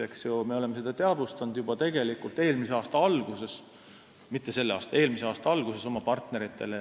Me teadvustasime seda oma partneritele tegelikult juba eelmise aasta alguses – mitte selle aasta, vaid eelmise aasta alguses.